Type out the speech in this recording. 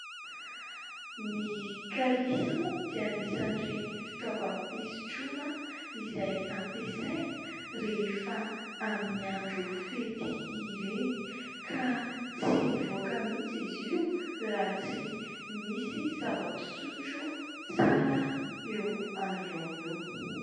Ny kalisy moa dia anisan'ireny fitaovam-pisotroana izay ampiasaina rehefa amin'ny andro fety ireny ka tsy mivoaka mihitsy izy io raha tsy misy zava-pisotro tsara eo anolona eo.